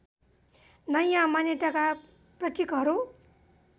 नयाँ मान्यताका प्रतीकहरू